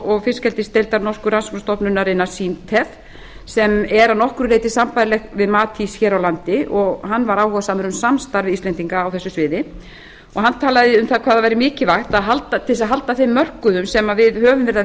og fiskeldisdeildar norsku rannsóknastofnunarinnar sem er að nokkru leyti sambærilegt við matís hér á landi og hann var áhugasamur um samstarf íslendinga á þessu sviði og hann talaði um hvað það væri mikilvægt til þess að halda þeim mörkuðum sem við